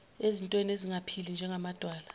ezintweni ezingaphili njengamadwala